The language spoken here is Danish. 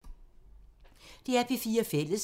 DR P4 Fælles